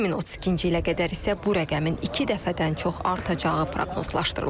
2032-ci ilə qədər isə bu rəqəmin iki dəfədən çox artacağı proqnozlaşdırılır.